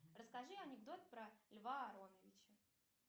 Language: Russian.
расскажи анекдот про льва ароновича